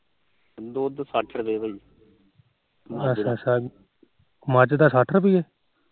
ਮੱਝ ਦਾ ਸੱਠ ਰੁਪੀਏ